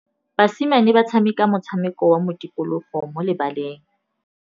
Basimane ba tshameka motshameko wa modikologô mo lebaleng.